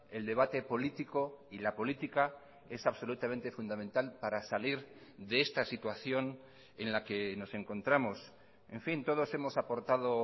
el debate político y la política es absolutamente fundamental para salir de esta situación en la que nos encontramos en fin todos hemos aportado